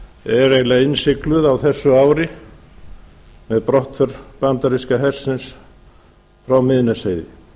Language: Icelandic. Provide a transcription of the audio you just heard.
er eiginlega innsigluð á þessu ári með brottför bandaríska hersins frá miðnesheiði